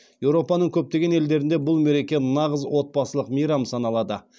еуропаның көптеген елдерінде бұл мереке нағыз отбасылық мейрам саналады